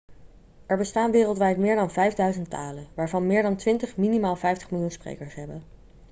er bestaan wereldwijd meer dan 5000 talen waarvan meer dan twintig minimaal 50 miljoen sprekers hebben